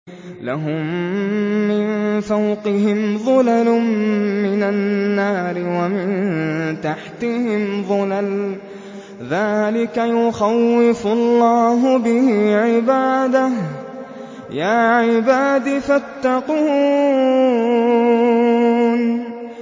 لَهُم مِّن فَوْقِهِمْ ظُلَلٌ مِّنَ النَّارِ وَمِن تَحْتِهِمْ ظُلَلٌ ۚ ذَٰلِكَ يُخَوِّفُ اللَّهُ بِهِ عِبَادَهُ ۚ يَا عِبَادِ فَاتَّقُونِ